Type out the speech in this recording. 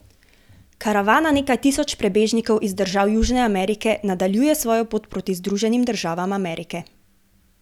Karavana nekaj tisoč prebežnikov iz držav Južne Amerike nadaljuje svojo pot proti Združenim državam Amerike.